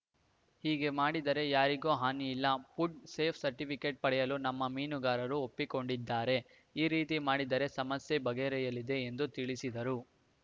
ಹೀಗೆ ಮಾಡಿದರೆ ಯಾರಿಗೂ ಹಾನಿಯಿಲ್ಲ ಫುಡ್‌ ಸೇಫ್ಟಿಸರ್ಟಿಫಿಕೆಟ್‌ ಪಡೆಯಲು ನಮ್ಮ ಮೀನುಗಾರರು ಒಪ್ಪಿಕೊಂಡಿದ್ದಾರೆ ಈ ರೀತಿ ಮಾಡಿದರೆ ಸಮಸ್ಯೆ ಬಗೆಹರಿಯಲಿದೆ ಎಂದು ತಿಳಿಸಿದರು